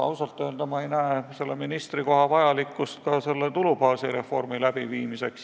Ausalt öelda ma ei näe selle ministrikoha vajalikkust ka tulubaasi reformi elluviimisel.